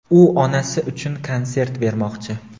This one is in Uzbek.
U onasi uchun konsert bermoqchi.